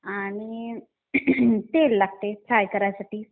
आणि तेल लागते फ्राय करायसाठी.